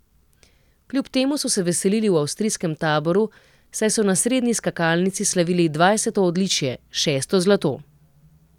Kljub temu so se veselili v avstrijskem taboru, saj so na srednji skakalnici slavili dvajseto odličje, šesto zlato.